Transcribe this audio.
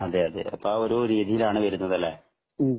അതെയതെ അപ്പോൾ ആ ഒരു രീതിയിലാണ് വരുന്നത് അല്ലെ